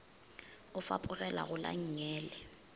o fapogela go la nngele